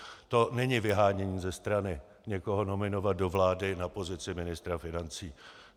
To není vyhánění ze strany, někoho nominovat do vlády na pozici ministra financí.